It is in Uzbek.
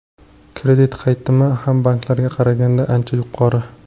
Kredit qaytimi ham banklarga qaraganda ancha yuqori.